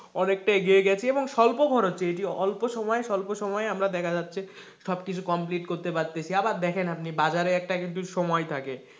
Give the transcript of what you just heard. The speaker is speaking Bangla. অনেকটাই এগিয়ে গেছে এবং স্বল্প খরচে এটি অল্প সময়ে, স্বল্প সময়ে আমরা দেখা যাচ্ছে সব কিছু কমপ্লিট করতে পারতেছি আবার আপনি দেখেন আপনি বাজারে একটা কিন্তু সময় থাকে,